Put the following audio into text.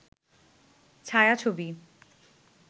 ছায়া-ছবি